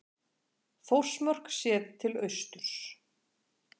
Þórsmörk séð til austurs.